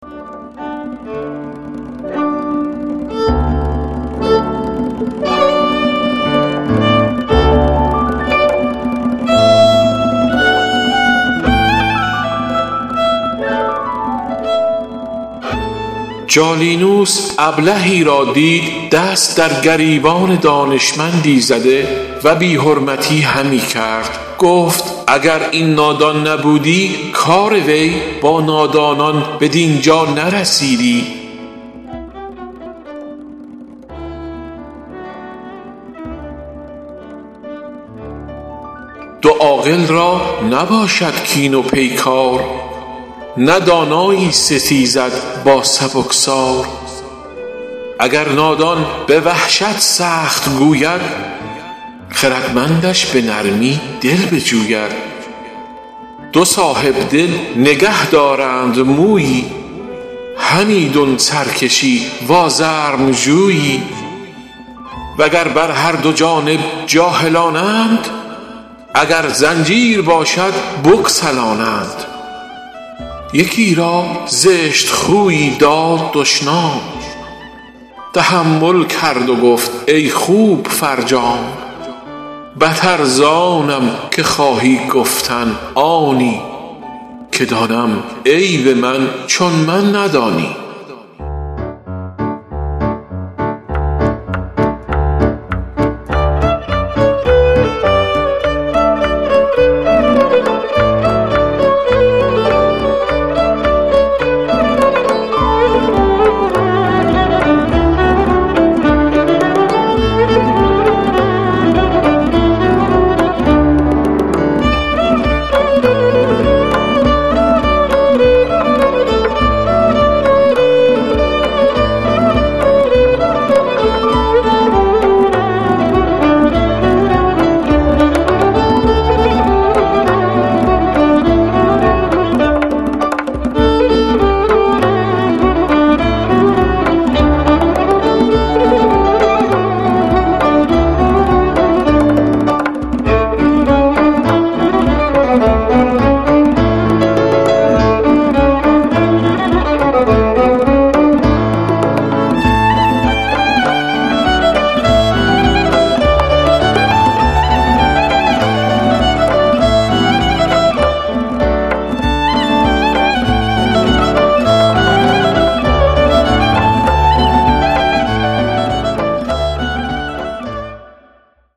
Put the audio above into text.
جالینوس ابلهی را دید دست در گریبان دانشمندی زده و بی حرمتی همی کرد گفت اگر این نادان نبودی کار وی با نادانان بدین جا نرسیدی دو عاقل را نباشد کین و پیکار نه دانایی ستیزد با سبکسار اگر نادان به وحشت سخت گوید خردمندش به نرمی دل بجوید دو صاحبدل نگه دارند مویی همیدون سرکشی و آزرم جویی و گر بر هر دو جانب جاهلانند اگر زنجیر باشد بگسلانند یکی را زشت خویی داد دشنام تحمل کرد و گفت ای خوب فرجام بتر زآنم که خواهی گفتن آنی که دانم عیب من چون من ندانی